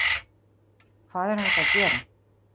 Hvað er hægt að gera